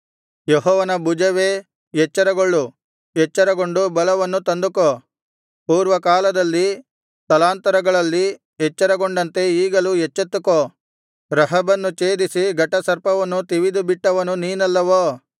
ಯೆಹೋವನ ಭುಜವೇ ಎಚ್ಚರಗೊಳ್ಳು ಎಚ್ಚರಗೊಂಡು ಬಲವನ್ನು ತಂದುಕೋ ಪೂರ್ವಕಾಲದಲ್ಲಿ ತಲಾಂತರಗಳಲ್ಲಿ ಎಚ್ಚರಗೊಂಡಂತೆ ಈಗಲೂ ಎಚ್ಚೆತ್ತುಕೋ ರಹಬನ್ನು ಛೇದಿಸಿ ಘಟಸರ್ಪವನ್ನು ತಿವಿದುಬಿಟ್ಟವನು ನೀನಲ್ಲವೋ